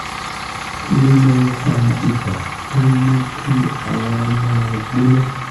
kí ló máa ń fa ibà tó ń mú kí ara máa gbóná?